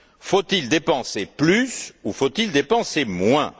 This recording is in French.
Faut il dépenser plus ou faut il dépenser moins?